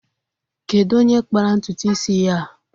Kedu onye kpara ntụtụ isi ya a?